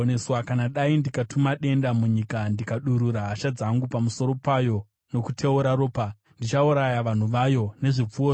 “Kana dai ndikatuma denda munyika ndikadurura hasha dzangu pamusoro payo nokuteura ropa, ndichauraya vanhu vayo nezvipfuwo zvavo,